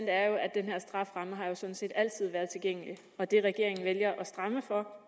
er jo at den her strafferamme sådan set altid har været tilgængelig og det regeringen vælger at stramme for